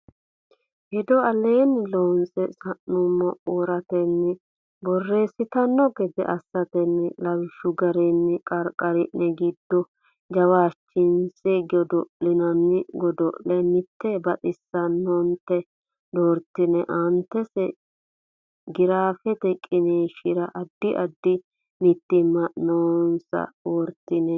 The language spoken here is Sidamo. hedo aleenni loonse sa numo wortanni borreessitanno gede assatenni lawishshi garinni qarqari ne giddo jawaachishinsa godo linanni godo le mitte baxissanno neta doortine aantese giraafete qiniishshira Addi addi mitiimma noonsa wortine.